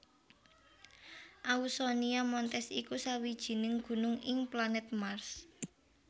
Ausonia Montes iku sawijining gunung ing planèt Mars